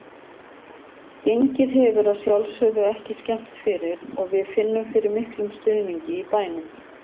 Gengið hefur að sjálfsögðu ekki skemmt fyrir og við finnum fyrir miklum stuðningi í bænum.